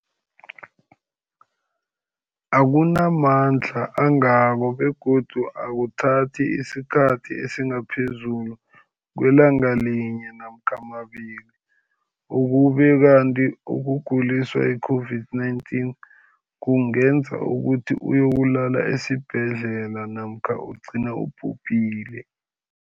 akuna mandla angako begodu akuthathi isikhathi esingaphezulu kwelanga linye namkha mabili, ukube kanti ukuguliswa yi-COVID-19 kungenza ukuthi uyokulala esibhedlela namkha ugcine ubhubhile.